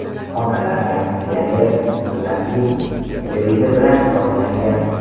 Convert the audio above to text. Xonalar konditsioner, muzlatgich, televizor bilan jihozlangan.